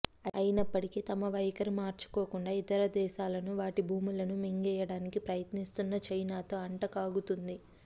అయినప్పటికీ తమ వైఖరి మార్చుకోకుండా ఇతర దేశాలను వాటి భూములను మింగేయడానికి ప్రయత్నిస్తున్న చైనాతో అంటకాగుతుంది